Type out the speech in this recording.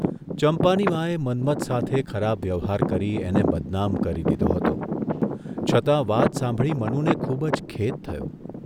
ચંપાની માએ મન્મથ સાથે ખરાબ વ્યવહાર કરી એને બદનામ કરી દીધો હતો છતાં વાત સાંભળી મનુને ખુબ જ ખેદ થયો.